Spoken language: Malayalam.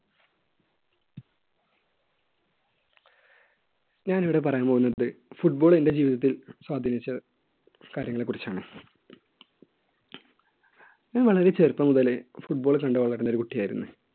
ഞാനിവിടെ പറയാൻ പോകുന്നത് football എൻറെ ജീവിതത്തിൽ സ്വാധീനിച്ച കാര്യങ്ങളെ കുറിച്ചാണ് ഞാൻ വളരെ ചെറുപ്പം മുതലേ football കണ്ട് വളരുന്ന ഒരു കുട്ടിയായിരുന്നു.